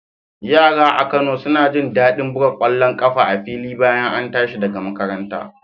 Yara a Kano suna jin daɗin buga ƙwallon ƙafa a fili bayan an tashi daga makaranta